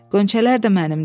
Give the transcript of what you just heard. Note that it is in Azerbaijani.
Qonçələr də mənimdir.